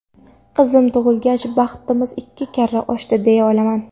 Qizim tug‘ilgach, baxtimiz ikki karra oshdi deya olaman.